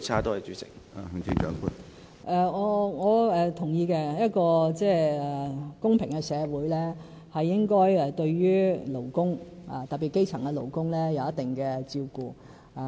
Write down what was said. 我是同意的，一個公平社會，是應該對勞工，特別是基層勞工，有一定的照顧。